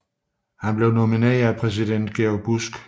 Han blev nomineret af præsident George W